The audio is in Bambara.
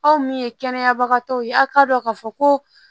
Aw min ye kɛnɛyabagatɔw ye aw k'a dɔn k'a fɔ ko